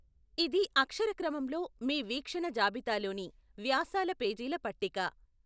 ఇది అక్షర క్రమంలో మీ వీక్షణ జాబితా లోని వ్యాసాల పేజీల పట్టిక.